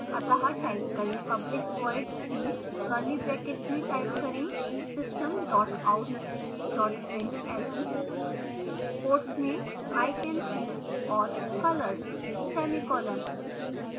अत: type करें public void see curly brackets में type करें system out println quotes में i can see all colors semicolon